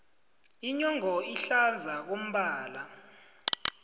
inyongo ihlaza ngombala